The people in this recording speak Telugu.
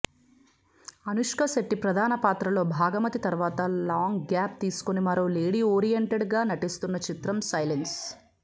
అనుష్క శెట్టి ప్రధాన పాత్రలో భాగమతి తర్వాత లాంగ్ గ్యాప్ తీసుకుని మరో లేడిఓరియేంటెడ్ గా నటిస్తోన్న చిత్రం సైలెన్స్